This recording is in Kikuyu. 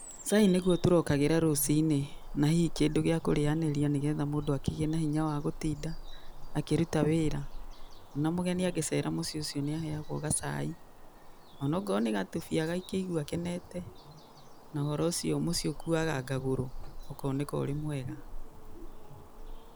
Cai nĩguo tũrokagĩra rũci-inĩ na hihi kĩndũ gĩa kũrĩanĩria nĩ getha mũndũ akĩgĩe na hinya wa gũtinda akĩruta wĩra. O na mũgeni angĩ cera mũciĩ ũcio nĩ aheagwo gacai onakorwo nĩ gatubia agakĩigua akenete. Na ũhoro ũcio mũciĩ ũkuaga ngagũro ũkoneka ũrĩ mwega.